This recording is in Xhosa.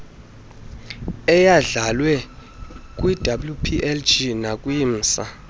eyandlalwe kwiwplg nakwimsa